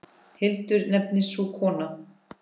Hildur nefnist sú kona.